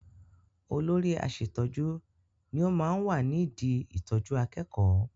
Olóri aṣẹ̀tọ́jú ni ó máa ń wà ní idi ìtọjú akẹ́kọ̀ọ́.